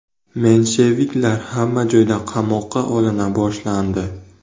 Mensheviklar hamma joyda qamoqqa olina boshlandi.